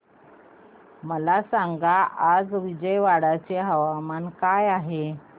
मला सांगा आज विजयवाडा चे तापमान काय आहे